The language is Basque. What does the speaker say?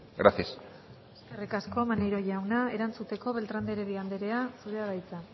gracias eskerrik asko maneiro jauna erantzuteko beltrán de heredia anderea zurea da hitza